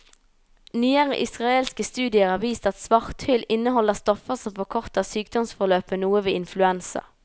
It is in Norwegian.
Nyere israelske studier har vist at svarthyll inneholder stoffer som forkorter sykdomsforløpet noe ved influensa.